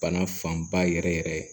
Bana fanba yɛrɛ yɛrɛ